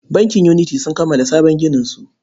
Bankin Unity sun kammala sabon gininsu.